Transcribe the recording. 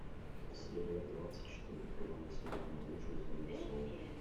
серия двадцать четыре первого сезона лучше звоните солу